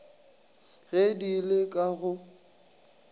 ge di le ka go